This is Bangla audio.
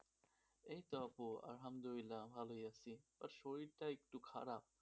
এইত আপু আহমদুল্লাহ ভালোই আছি শরীরটা একটু খারাপ,